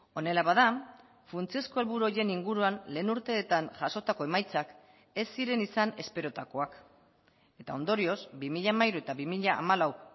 honela bada funtsezko helburu horien inguruan lehen urteetan jasotako emaitzak ez ziren izan esperotakoak eta ondorioz bi mila hamairu eta bi mila hamalau